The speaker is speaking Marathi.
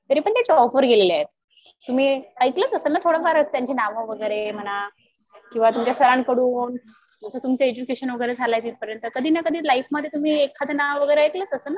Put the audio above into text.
तरी पण ते जॉब वर गेलेले आहेत. तुम्ही ऐकलंच असेल ना थोडंफार त्यांची नावं वगैरे म्हणा किंवा तुमच्या सरांकडून जसं तुमचं एजुकेशन वगैरे झालं तिथपर्यंत कधी ना कधी लाईफ मध्ये तुम्ही एखादं नावं वगैरे ऐकलंच असेल ना